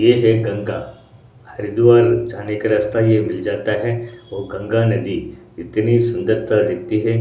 ये है गंगा हरिद्वार जाने का रास्ता ये मिल जाता है व गंगा नदी इतनी सुंदर तरह दिखती हैं।